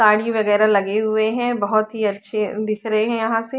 पानी वगेरा लगे हुए है बहोत ही अच्छे दिख रहे है यहाँ से।